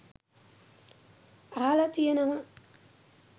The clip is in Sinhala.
අහල තියෙනවා.